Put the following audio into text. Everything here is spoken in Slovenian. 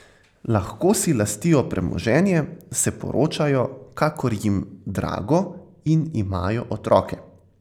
Lahko si lastijo premoženje, se poročajo, kakor jim drago, in imajo otroke.